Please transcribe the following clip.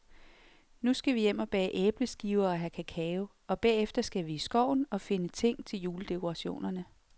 Nu skal vi hjem og bage æbleskiver og have kakao, og bagefter skal vi i skoven og finde ting til juledekorationerne.